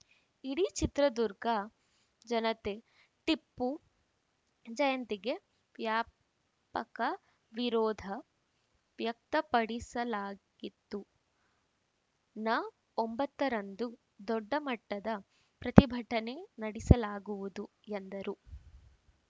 ಇಡೀ ಚಿತ್ರದುರ್ಗ ಜನತೆ ಟಿಪ್ಪು ಜಯಂತಿಗೆ ವ್ಯಾಪಕ ವಿರೋಧ ವ್ಯಕ್ತಪಡಿಸಲಾಗಿತ್ತು ನ ಒಂಬತ್ತರಂದು ದೊಡ್ಡ ಮಟ್ಟದ ಪ್ರತಿಭಟನೆ ನಡೆಸಲಾಗುವುದು ಎಂದರು